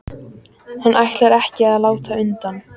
Hann ætlar ekki að láta undan.